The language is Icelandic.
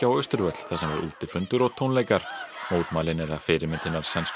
Austurvöll þar sem var útifundur og tónleikar mótmælin eru að fyrirmynd hinnar sænsku